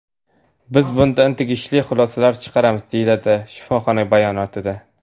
Biz bundan tegishli xulosalar chiqaramiz”, − deyiladi shifoxona bayonotida.